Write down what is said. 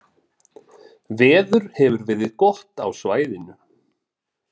Veður hefur verið gott á svæðinu